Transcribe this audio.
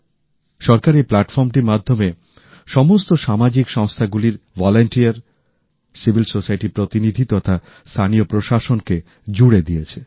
সরকার এই প্লাটফর্মটির মাধ্যমে সমস্ত সামাজিক সংস্থাগুলির স্বেচ্ছাসেবক সিভিল সোসাইটির প্রতিনিধি তথা স্থানীয় প্রশাসনকে জুড়ে দিয়েছে